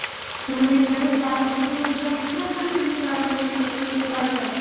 ତମେମାନେ ଏକାବେଳେ class ସାରିକିନା room କୁ ଆସନା ଏମିତି ଏମିତି ରହି ମାନେ ରହିଥାଅ